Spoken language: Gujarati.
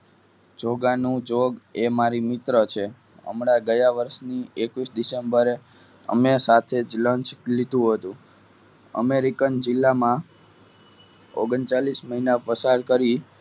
જોગા નું જોગ એ મારી મિત્ર છે હમણાં ગયા વર્ષ ની એકવીસ ડિસેમ્બરે અમે સાથે જ લંચ લીધું હતું. American જિલ્લામા ઓગણચાલીસ મહિના પસાર કરી.